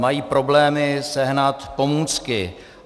Mají problémy sehnat pomůcky.